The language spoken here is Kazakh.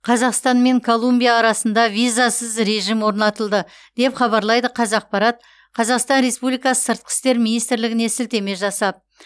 қазақстан мен колумбия арасында визасыз режім орнатылды деп хабарлайды қазақпарат қазақстан республикасы сыртқы істер министрлігіне сілтеме жасап